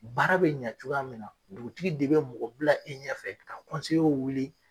Baara bɛ ɲɛ cogoya min na dugutigi de bɛ mɔgɔ bila i ɲɛfɛ ka wuli